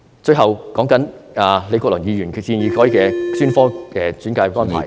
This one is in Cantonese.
最後，對於李國麟議員建議改變現時的專科專介安排......